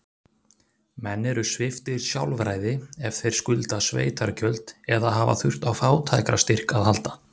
Menn eru sviptir sjálfræði ef þeir skulda sveitargjöld, eða hafa þurft á fátækrastyrk að halda.